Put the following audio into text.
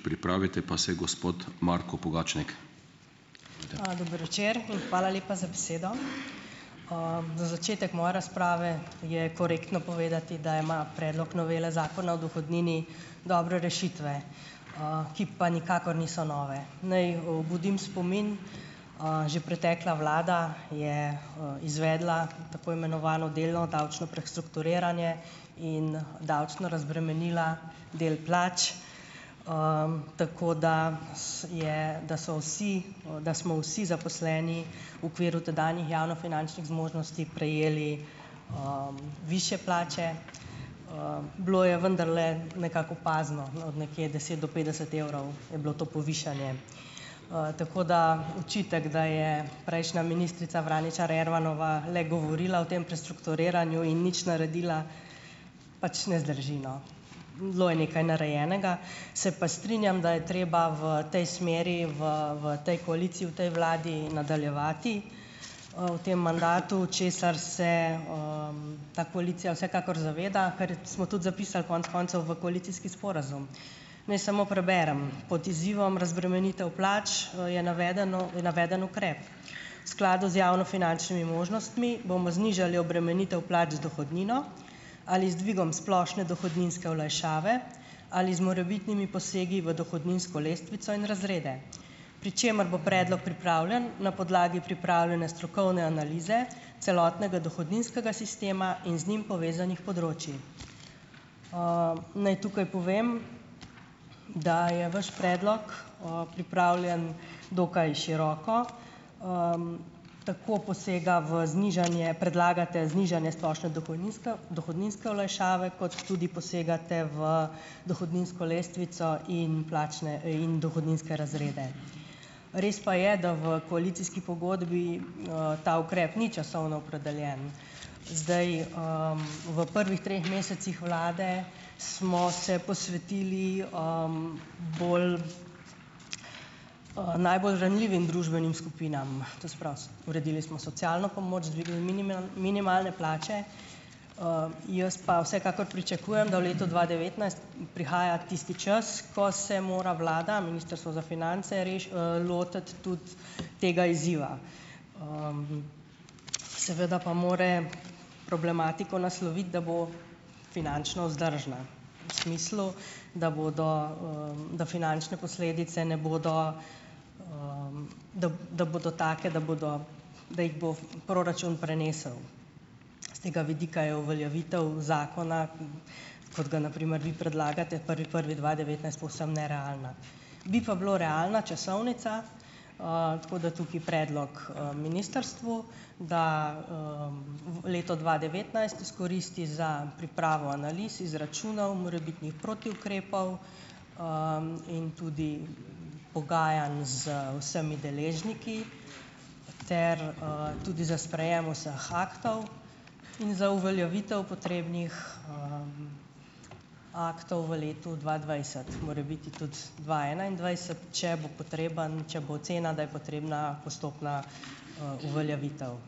Dober večer in hvala lepa za besedo. Za začetek moje razprave je korektno povedati, da ima Predlog novele Zakona o dohodnini dobre rešitve, ki pa nikakor niso nove. Naj obudim spomin. Že pretekla vlada je, izvedla tako imenovano delno davčno prestrukturiranje in davčno razbremenila del plač. Tako da je, da so vsi, da smo vsi zaposleni v okviru tedanjih javnofinančnih zmožnosti prejeli višje plače. Bilo je vendarle nekako opazno, no, nekje, deset do petdeset evrov, je bilo to povišanje. Tako da očitek, da je prejšnja ministrica Vraničar Ermanova le govorila o tem prestrukturiranju in nič naredila, pač ne zdrži, no. Bilo je nekaj narejenega. Se pa strinjam, da je treba v tej smeri, v v tej koaliciji, v tej vladi nadaljevati, v tem mandatu, česar se ta koalicija vsekakor zaveda, kar smo tudi zapisali konec koncev v koalicijski sporazum. Naj samo preberem. Pod izzivom razbremenitev plač, je navedeno naveden ukrep: "Skladu z javnofinančnimi možnostmi bomo znižali obremenitev plač z dohodnino ali z dvigom splošne dohodninske olajšave ali z morebitnimi posegi v dohodninsko lestvico in razrede, pri čemer bo predlog pripravljen na podlagi pripravljene strokovne analize celotnega dohodninskega sistema in z njim povezanih področij." Naj tukaj povem, da je vaš predlog o pripravljen dokaj široko. Tako posega v znižanje, predlagate znižanje splošne dohodninske dohodninske olajšave, kot tudi posegate v dohodninsko lestvico in plačne, in dohodninske razrede. Res pa je, da v koalicijski pogodbi, ta ukrep ni časovno opredeljen. Zdaj v prvih treh mesecih vlade smo se posvetili bolj, najbolj ranljivim družbenim skupinam. To se pravi, uredili smo socialno pomoč, dvignili minimalne plače. Jaz pa vsekakor pričakujem, da v letu dva devetnajst prihaja tisti čas, ko se mora vlada, Ministrstvo za finance lotiti tudi tega izziva. Seveda pa mora problematiko nasloviti, da bo finančno vzdržna. V smislu, da bodo, da finančne posledice ne bodo da bodo take, da bodo, da jih bo proračun prenesel. S tega vidika je uveljavitev zakona, kot ga na primer vi predlagate, prvi prvi dva devetnajst, povsem nerealna. Bi pa bila realna časovnica, tako da tukaj predlog, ministrstvu, da v leto dva devetnajst izkoristi za pripravo analiz, izračunov, morebitnih protiukrepov in tudi pogajanj z vsemi deležniki ter, tudi za sprejem vseh aktov in za uveljavitev potrebnih aktov v letu dva dvajset. Morebiti tudi dva enaindvajset, če bo potreben, če bo ocena, da je potrebna postopna, uveljavitev.